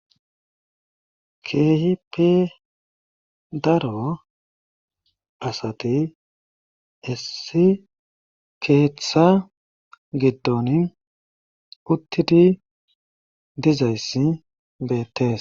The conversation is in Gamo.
Keehippe daro asati issi keetha giddoni uttidi dizayssi beettees.